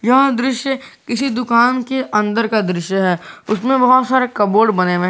यह दृश्य किसी दुकान के अंदर का दृश्य है उसमें बहुत सारे कबोर्ड बने हुए हैं।